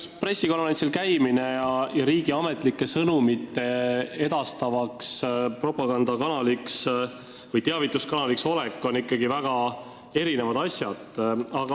Eks pressikonverentsil käimine ja riigi ametlikke sõnumeid edastavaks propagandakanaliks või teavituskanaliks olek ole ikkagi väga erinevad asjad.